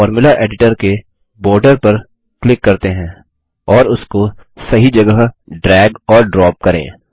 चलिए formula editor के border पर क्लिक करते हैं और उसको सही जगह ड्रैग और ड्रॉप करें